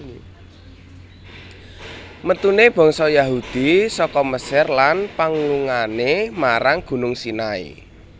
Metune bangsa Yahudi saka Mesir lan panglungane marang Gunung Sinai